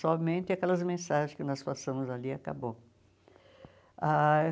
Somente aquelas mensagens que nós passamos ali e acabou ah.